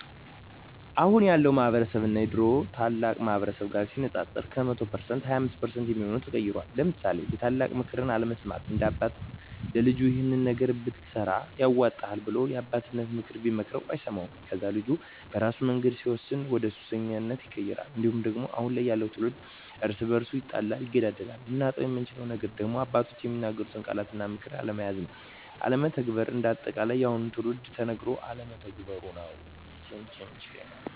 አሁን ያለው ማህበረስብ እና የድሮ ታላላቅ ማህበረሰብ ጋር ሲነፃፀር ከ100% 25% የሚሆው ተቀይሯል ለምሳሌ የታላላቅ ምክር አለመስማት፦ አንድ አባት ለልጁ ይሄን ነገር ብትሰራ ያዋጣሀል ብሎ የአባቴነተን ምክር ቢመክረው አይሰማውም ከዛ ልጁ በራሱ መንገድ ሲወስን ወደሱሰኛ ይቀየራል። እንዲሁም ደግሞ አሁን ያለው ትውልድ እርስ በርሱ ይጣላል ይገዳደላል። ልናጣው የምንችለው ነገር ደግሞ አባቶች የሚናገሩትን ቃላት እና ምክር አለመያዝ ወይም አለመተግበር። እንደ አጠቃላይ የአሁኑ ትውልድ ተነገሮ አለመተግበሩ